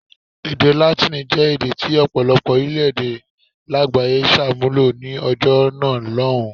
Èdè Látíìnì jẹ́ èdè tí ọ̀pọ̀lọpọ̀ orílẹ̀-èdè lágbàáyé ṣàmúlò ní ọjọ́ náà lọ́hùn-ún.